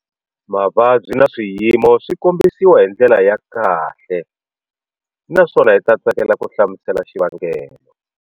Mavabyi na swiyimo swi kombisiwa hi ndlela ya kahle naswona hi ta tsakela ku hlamusela xivangelo.